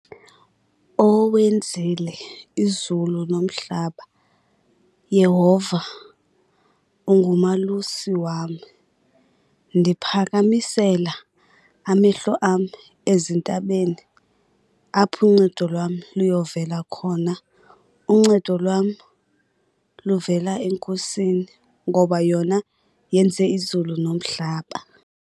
Owenzile izulu nomhlaba. Yehova ungumalusi wam. Ndiphakamisela amehlo am ezintabeni apho uncedo lwam luyovela khona. Uncedo lwam luvela eNkosini ngoba yona yenze izulu nomhlaba.